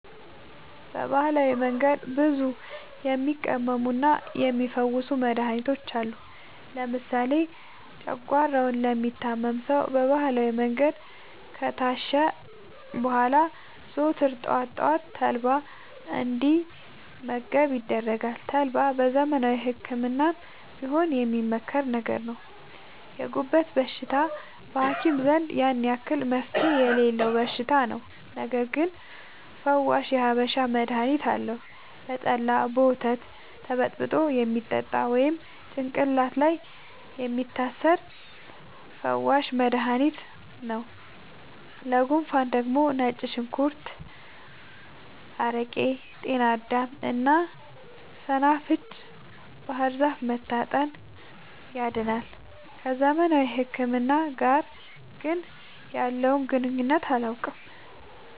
በባህላዊ መንገድ ብዙ የሚቀመሙና የሚ ፈውሱ መድሀኒቶች አሉ። ለምሳሌ ጨጓሯውን ለሚታመም ሰው በባህላዊ መንገድ ከታሸ በኋላ ዘወትር ጠዋት ጠዋት ተልባ እንዲ መገብ ይደረጋል ተልባ በዘመናዊ ህክምናም ቢሆን የሚመከር ነገር ነው። የጉበት በሽታ በሀኪም ዘንድ ያን አክል መፍትሄ የሌለው በሽታ ነው። ነገርግን ፈዋሽ የሀበሻ መድሀኒት አለው። በጠላ፣ በወተት ተበጥብጦ የሚጠጣ ወይም ጭቅላት ላይ የሚታሰር ፈዋሽ መደሀኒት ነው። ለጉንፉን ደግሞ ነጭ ሽንኩርት አረቄ ጤናዳም እና ሰናፍጭ ባህርዛፍ መታጠን ያድናል።። ከዘመናዊ ህክምና ጋር ግን ያለውን ግንኙነት አላውቅም።